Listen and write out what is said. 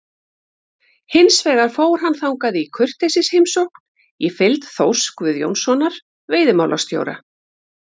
Hins vegar fór hann þangað í kurteisisheimsókn í fylgd Þórs Guðjónssonar veiðimálastjóra.